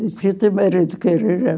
Disse, o teu marido quer ir